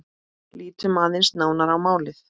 Lítum aðeins nánar á málið.